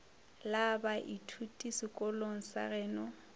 la baithuti sekolong sa geno